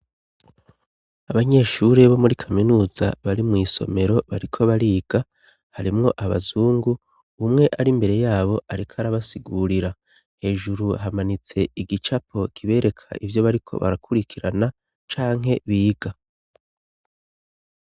Abanyeshure bo muri kaminuza bari mw' isomero bariko bariga, harimwo abazungu umwe ar'imbere yabo arik' arabasigurira hejuru hamanitse igicapo kibereka ivyo bariko barakurikirana canke biga